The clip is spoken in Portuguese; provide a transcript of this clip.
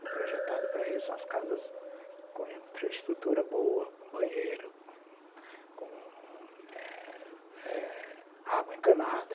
Foi projetado para isso, umas casas com infraestrutura boa, com banheiro, eh com água encanada,